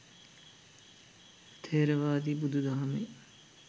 ථෙරවාදී බුදුදහමේ